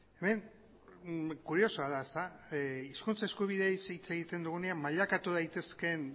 hemen kuriosoa da hizkuntz eskubideei ze hitz egiten dugunean mailakatu daitezkeen